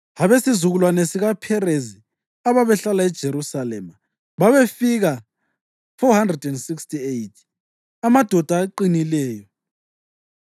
Abesizukulwane sikaPherezi ababehlala eJerusalema babefika 468, amadoda aqinileyo.